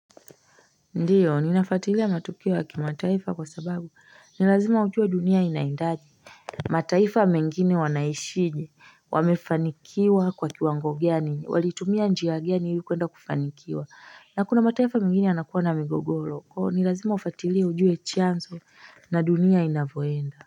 Ndiyo ninafuatilia matukio ya kimataifa kwa sababu ni lazima ujue dunia inaendaje mataifa mengine wanaishije wamefanikiwa kwa kiwangogiani walitumia njiagiani yukuenda kufanikiwa na kuna mataifa mengine anakuwa na migogoro nilazima ufatilea ujua chanzo na dunia inavohenda.